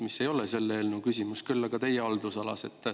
See ei ole küll selle eelnõu küsimus, aga on teie haldusalas.